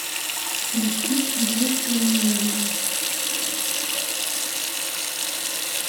включи к единственному нежному